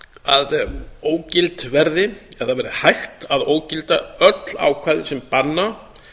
að ógild verði eða það verði hægt að ógilda öll ákvæði sem banna